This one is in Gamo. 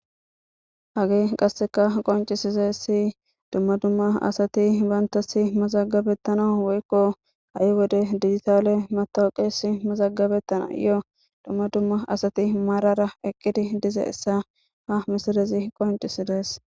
hagee qasseka qoncisizasi dumma dumma asati bantasi mazagabettana woykko ha'i wode digitale matooqesi mazagabettana yo dumma dumma asati maarara eqqidi dize essa ha misilezi qoncisidees